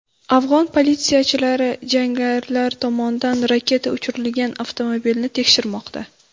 Afg‘on politsiyachilari jangarilar tomonidan raketa uchirilgan avtomobilni tekshirmoqda.